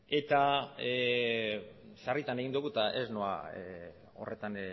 eta sarritan egin dugu eta ez noa horretan